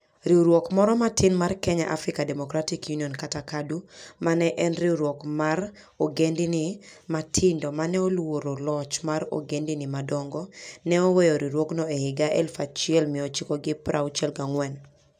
Riwruok moro matin mar Kenya African Democratic Union (KADU), ma ne en riwruok mar ogendini matindo ma ne oluoro loch mar ogendini madongo, ne oweyo riwruogno e higa 1964.